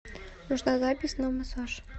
нужна запись на массаж